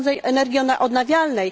urządzeń energii odnawialnej.